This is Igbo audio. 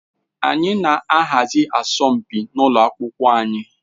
Anyị na-ahazi asọmpi n'ụlọ akwụkwọ anyị.